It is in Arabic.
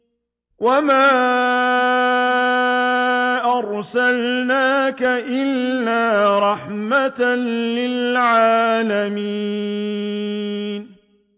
وَمَا أَرْسَلْنَاكَ إِلَّا رَحْمَةً لِّلْعَالَمِينَ